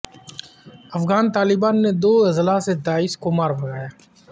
افغان طالبان نے دو اضلاع سے داعش کو مار بھگایا